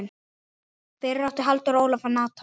Fyrir átti Halldór Ólaf Natan.